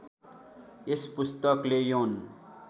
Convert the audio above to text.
यस पुस्तकले यौन